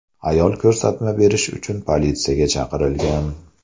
Ayol ko‘rsatma berish uchun politsiyaga chaqirilgan.